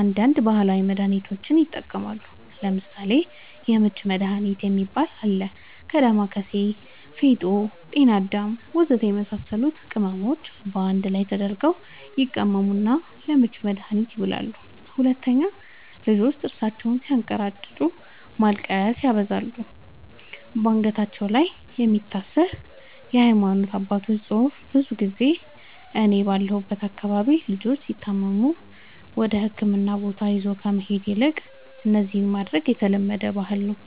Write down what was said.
አንዳንድ ባህላዊ መድሃኒቶችንም ይጠቀማሉ ለምሳሌ:- የምች መድሃኒት የሚባል አለ ከ ዳማከሲ ፌጦ ጤናአዳም ወዘተ የመሳሰሉት ቅመሞች ባንድ ላይ ተደርገው ይቀመሙና ለምች መድኃኒትነት ይውላሉ 2, ልጆች ጥርሳቸውን ስያንከራጭጩ ማልቀስ ሲያበዙ ባንገታቸው ላይ የሚታሰር የሃይማኖት አባቶች ፅሁፍ ብዙ ጊዜ እኔ ባለሁበት አካባቢ ልጆች ሲታመሙ ወደህክምና ቦታ ይዞ ከመሄድ ይልቅ እነዚህን ማድረግ የተለመደ ባህል ነዉ